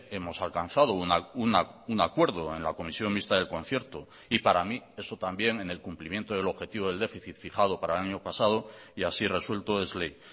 hemos alcanzado un acuerdo en la comisión mixta del concierto y para mí eso también en el cumplimiento del objetivo del déficit fijado para el año pasado y así resuelto es ley